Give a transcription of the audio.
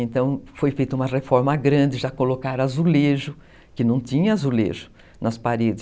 Então, foi feita uma reforma grande, já colocaram azulejo, que não tinha azulejo nas paredes.